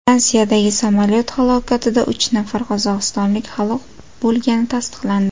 Fransiyadagi samolyot halokatida uch nafar qozog‘istonlik halok bo‘lgani tasdiqlandi.